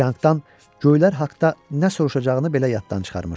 Çianqdan göylər haqda nə soruşacağını belə yaddan çıxarmışdı.